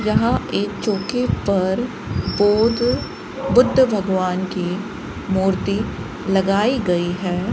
यहां एक चौकी पर बौद्ध बुद्ध भगवान की मूर्ति लगाई गई है।